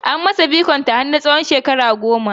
An masa bikon ta har na tsawon shekara goma